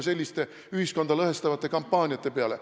– selliste ühiskonda lõhestavate kampaaniate peale.